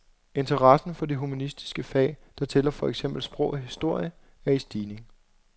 Interessen for de humanistiske fag, der tæller for eksempel sprog og historie, er i stigning.